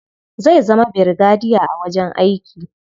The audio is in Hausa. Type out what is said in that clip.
Zai zama birigadiya a wajen aiki.